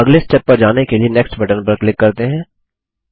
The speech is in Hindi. अब अगले स्टेप पर जाने के लिए नेक्स्ट बटन पर क्लिक करते हैं